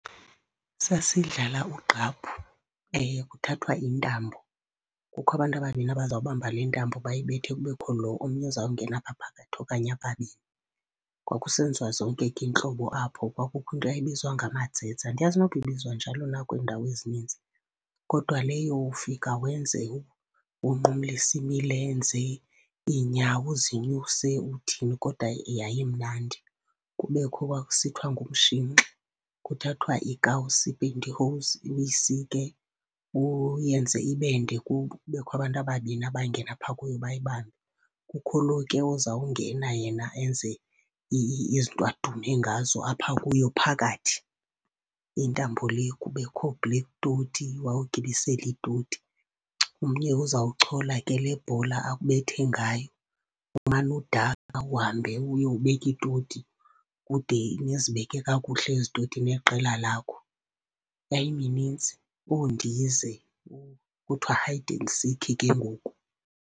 Sasidlala ugqaphu. Kuthathwa intambo, kukho abantu ababini abazawubamba le ntambo bayibethe. Kubekho lo omnye uzawungena apha phakathi okanye ababini, kwakusenziwa zonke iintlobo apho. Kwakukho into yayibizwa ngamadzedze, andiyazi nokuba ibizwa njalo na kwindawo ezininzi. Kodwa leyo ufika wenze, unqumlise imilenze, iinyawo uzinyuse uthini kodwa yayimnandi. Kubekho kwakusithiwa ngumshinxi. Kuthathwa iikawusi, i-pantyhose, uyisike uyenze ibe nde. Kubekho abantu ababini abangena phaa kuyo bayibambe. Kukho lo ozawungena yena enze izinto adume ngazo apha kuyo phakathi, intambo le. Kubekho oo-black toti. Wawugibisela iitoti, omnye uzawuchola ke lebhola akubethe ngayo. Umane udakha uhambe uyobeka iitoti ude nizibeke kakuhle ezi toti neqela lakho. Yayiminintsi, oondize, kuthiwa hide and seek ke ngoku.